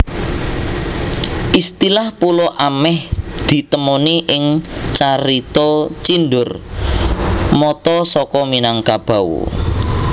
Istilah pulo ameh ditemoni ing carita Cindur Mata saka Minangkabau